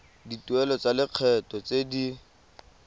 dituelo tsa lekgetho tse di